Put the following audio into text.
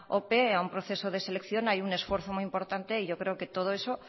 ope a un proceso de selección hay un esfuerzo muy importante y yo creo que todo eso